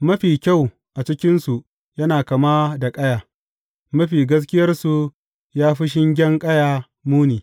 Mafi kyau a cikinsu yana kama da ƙaya, mafi gaskiyarsu ya fi shingen ƙaya muni.